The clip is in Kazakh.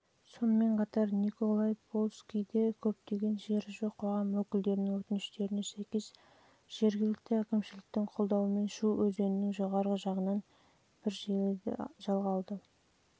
сонымен қатар николай польскийде көптеген жері жоқ қоғам өкілдерінің өтініштеріне сәйкес жылы жергілікті әкімшіліктің қолдауымен шу өзенінің жоғарғы жағынан